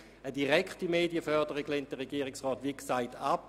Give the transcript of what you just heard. Eine direkte Medienförderung lehnt der Regierungsrat wie gesagt ab.